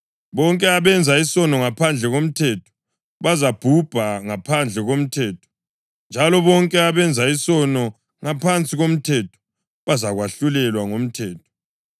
Bonke abenza isono ngaphandle komthetho bazabhubha ngaphandle komthetho, njalo bonke abenza isono ngaphansi komthetho bazakwahlulelwa ngomthetho.